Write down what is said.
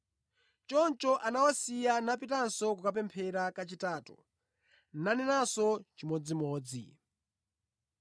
Choncho anawasiya napitanso kukapemphera kachitatu nanenanso chimodzimodzi.